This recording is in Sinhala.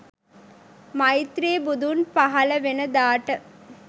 මෛත්‍රී බුදුන් පහල වෙන දාට